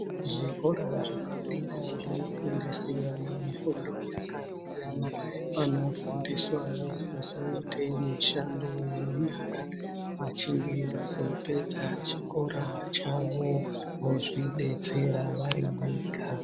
Zvikora zvepadera zvinofundise vana mifundo yakasiyana. Vanofundiswawo kuzoite mishando yenyara. Vachinge vazopedza chikora chavo vozvidetsera vari vega.